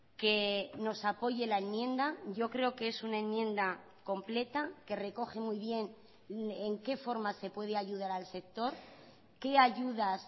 que nos apoye la enmienda yo creo que es una enmienda completa que recoge muy bien en qué forma se puede ayudar al sector qué ayudas